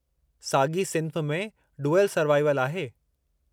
साॻी सिन्फ़ में 'डुअलु सरवाइवलु' आहे।